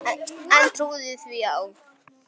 En trúði því þá.